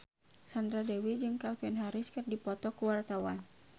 Sandra Dewi jeung Calvin Harris keur dipoto ku wartawan